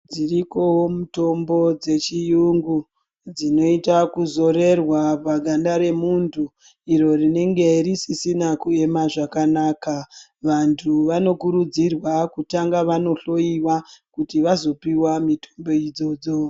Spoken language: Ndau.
Dziriko mutombo dzechiyungu dzinoita kuzorerwa paganda remuntu iro rinenge risisina kuema zvakanaka. Vantu vanokurudzirwa kutanga vanohloyiwa kuti vazopiwa mitombo idzodzo.